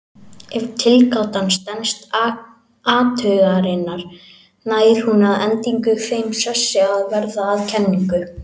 Ef tilgátan stenst athuganir nær hún að endingu þeim sessi að verða að kenningu.